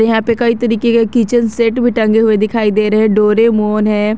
यहां पे कई तरीके के किचन सेट भी टंगे हुए दिखाई दे रहे हैं डोरेमॉन है।